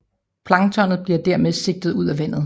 Planktonet bliver dermed sigtet ud af vandet